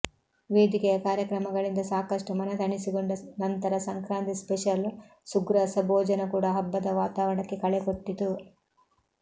ವೇದಿಕೆಯ ಕಾರ್ಯಕ್ರಮಗಳಿಂದ ಸಾಕಷ್ಟು ಮನತಣಿಸಿಕೊಂಡ ನಂತರ ಸಂಕ್ರಾಂತಿ ಸ್ಪೆಷಲ್ ಸುಗ್ರಾಸ ಭೋಜನ ಕೂಡ ಹಬ್ಬದ ವಾತಾವರಣಕ್ಕೆ ಕಳೆಕೊಟ್ಟಿತು